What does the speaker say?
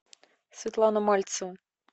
светлана мальцева